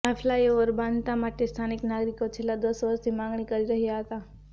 આ ફ્લાયઓવર બાંધવા માટે સ્થાનિક નાગરિકો છેલ્લા દશ વર્ષથી માગણી કરી રહ્યા હતા